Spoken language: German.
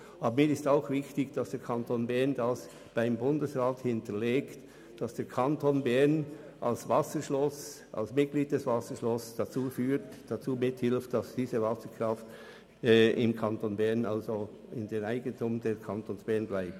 Mir ist auch wichtig, dass der Kanton Bern die Tatsache beim Bundesrat hinterlegt, dass er als Wasserschloss dazu beiträgt, damit die Wasserkraft öffentlich bleibt, und ebenso, dass der Kanton Bern Eigentümer bleibt.